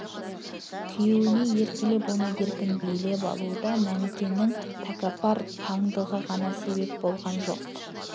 күйеуіне еркелеп оны еркін билеп алуда мәнікенің тәкаппар паңдығы ғана себеп болған жоқ